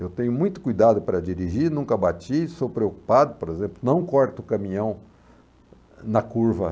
Eu tenho muito cuidado para dirigir, nunca bati, sou preocupado, por exemplo, não corto o caminhão na curva.